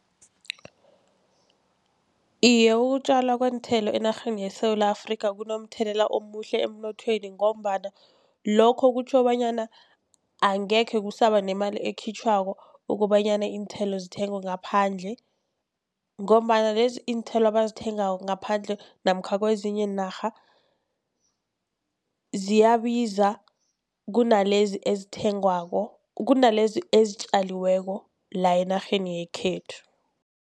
Iye, ukutjalwa kweenthelo enarheni yeSewula Afrika kunomthelela omuhle emnothweni, ngombana lokho kutjho bonyana angekhe kusaba nemali ekhitjhwako kobanyana iinthelo zithengwe ngaphandle. Ngombana lezi iinthelo abazithengako ngaphandle namkha kezinye iinarha ziyabiza kunalezi ezithengwako, kunalezi ezitjaliweko la enarheni yekhethu.